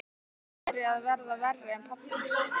Hún væri að verða verri en pabbi.